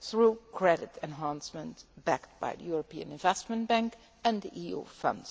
through credit enhancement backed by the European Investment Bank and the EU funds.